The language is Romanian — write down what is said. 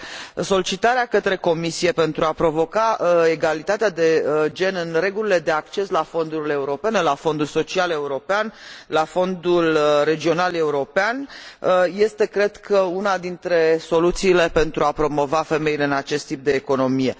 Dar solicitarea către Comisie pentru a provoca egalitatea de gen în regulile de acces la fondurile europene, la Fondul Social European, la Fondul Regional European este, cred, una dintre soluțiile pentru a promova femeile în acest tip de economie.